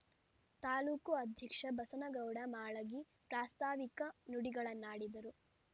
ತಾಲೂಕು ಅಧ್ಯಕ್ಷ ಬಸನಗೌಡ ಮಾಳಗಿ ಪ್ರಾಸ್ತಾವಿಕ ನುಡಿಗಳನ್ನಾಡಿದರು